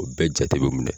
O bɛɛ jate bɛ minɛ